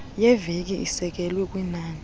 yeveki isekelwe kwinani